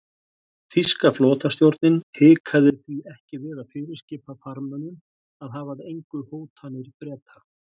Þýska flotastjórnin hikaði því ekki við að fyrirskipa farmönnum að hafa að engu hótanir Breta.